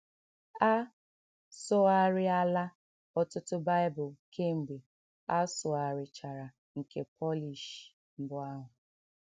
A sụgharịala ọtụtụ Bible kemgbe a sụgharịchara nke Polish mbụ ahụ.